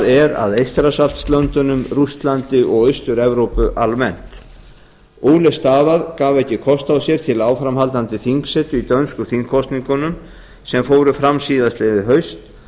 er að eystrasaltslöndunum rússlandi og austur evrópu almennt ole stavad gaf ekki kost á sér til áframhaldandi þingsetu í dönsku þingkosningunum sem fóru fram síðastliðið haust